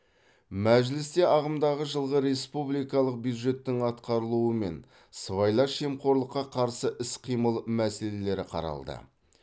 мәжілісте ағымдағы жылғы республикалық бюджеттің атқарылуы мен сыбайлас жемқорлыққа қарсы іс қимыл мәселелері қаралды